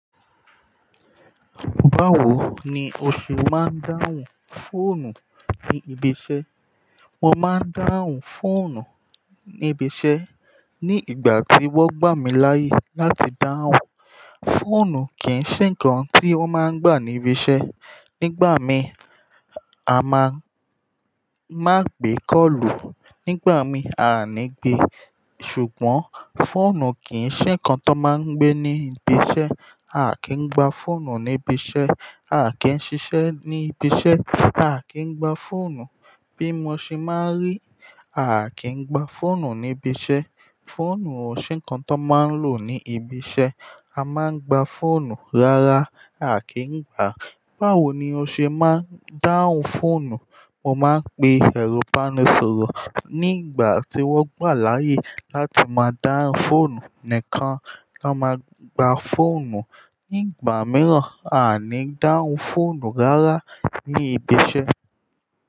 Báwo ni o ṣe máa ń dáhùn fóònù ní ibi iṣẹ́? Mo máa ń dáhùn fóònù ní ibi iṣẹ́ ní ìgbà tí wọ́n gbà mí láyè láti dáhùn. Fóònù kì í ṣe nǹkan tí wọ́n máa ń gbà ní ibi iṣẹ́. Nígbà mi, a máa má gbé kọ́ọ̀lù. Nígbà mi, a ní gbe. Ṣùgbọ́n, fóònù kì í ṣe nǹkan tó máa ń gbé ní ibi iṣẹ́. A kì í gba fóònù ní ibi iṣẹ́. A kì í ṣiṣẹ́ ní ibi iṣẹ́, a kì í gba fóònù. Bí mo ṣe máa rí, a kì í gba fóònù ní ibi iṣẹ́. Fóònù ò ṣe nǹkan tó máa ń lò ní ibi iṣẹ́. A máa ń gba fóònù rárá, a kì í gba. Báwo ni o ṣe máa ń dáhùn fóònù? Mo máa ń pe ẹrọ̀ ibá ní sọ̀rọ̀ nígbà tí wọ́n gbà láyè láti máa dáhùn fóònù nìkan ló máa gba fóònù. Nígbà mìíràn, a ní dáhùn fóònù rárá ní ibi iṣẹ́